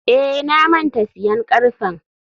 eh, na manta siyan karfen.